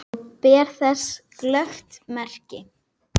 Og ber þess glöggt merki.